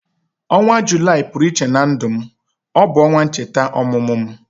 Ọnwa Julaị pụrụ iche na ndu me. Ọ bu onwa ncheta ọmụmụ m